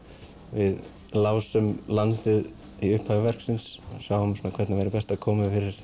við lásum landið í upphafi verksins og sáum hvernig væri best að koma fyrir